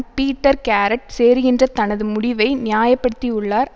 Peter Garrett சேருகின்ற தனது முடிவை நியாய படுத்தியுள்ளார்